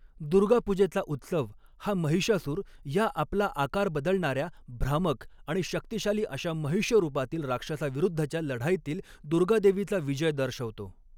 दुर्गापूजेचा उत्सव हा महिषासूर या आपला आकार बदलणाऱ्या, भ्रामक आणि शक्तिशाली अशा महिष रूपातील राक्षसाविरुद्धच्या लढाईतील दुर्गादेवीचा विजय दर्शवतो.